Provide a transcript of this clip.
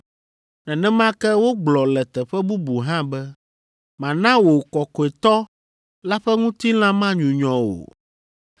Nenema ke wogblɔ le teƒe bubu hã be, “ ‘Mana wò kɔkɔetɔ la ƒe ŋutilã manyunyɔ o.’